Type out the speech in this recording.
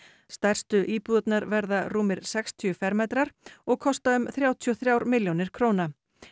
stærstu íbúðirnar verða rúmir sextíu fermetrar og kosta um þrjátíu og þrjár milljónir króna